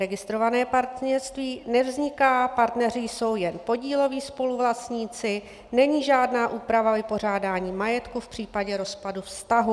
Registrované partnerství - nevzniká, partneři jsou jen podíloví spoluvlastníci, není žádná úprava vypořádání majetku v případě rozpadu vztahu.